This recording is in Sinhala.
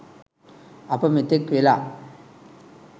අප මෙතෙක් වෙලා